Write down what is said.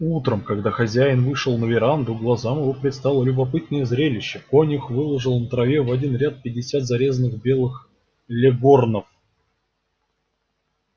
утром когда хозяин вышел на веранду глазам его предстало любопытное зрелище конюх выложил на траве в один ряд пятьдесят зарезанных белых леггорнов